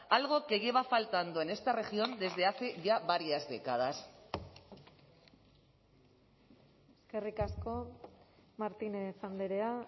algo que lleva faltando en esta región desde hace ya varias décadas eskerrik asko martínez andrea